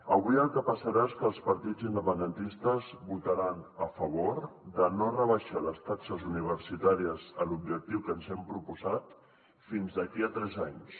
avui el que passarà és que els partits independentistes votaran a favor de no rebaixar les taxes universitàries a l’objectiu que ens hem proposat fins d’aquí a tres anys